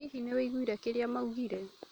Hihi nĩũigwire kĩrĩa maugire?